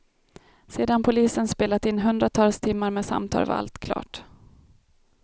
Sedan polisen spelat in hundratals timmar med samtal var allt klart.